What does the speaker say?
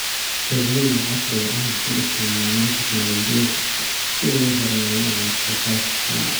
Beeralayda casriga ah waxay isticmaalaan tignoolajiyada si ay u horumariyaan wax soo saarka xoolaha.